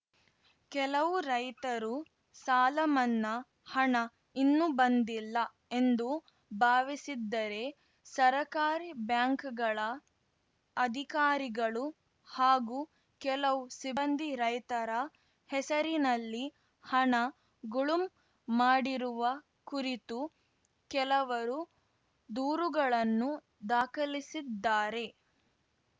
ಕೆಲವು ರೈತರು ಸಾಲಮನ್ನಾ ಹಣ ಇನ್ನೂ ಬಂದಿಲ್ಲ ಎಂದು ಭಾವಿಸಿದ್ದರೆ ಸರಕಾರಿ ಬ್ಯಾಂಕ್‌ಗಳ ಅಧಿಕಾರಿಗಳು ಹಾಗೂ ಕೆಲವು ಸಿಬ್ಬಂದಿ ರೈತರ ಹೆಸರಲ್ಲಿನ ಹಣ ಗುಳುಂ ಮಾಡಿರುವ ಕುರಿತು ಕೆಲವರು ದೂರುಗಳನ್ನು ದಾಖಲಿಸಿದ್ದಾರೆ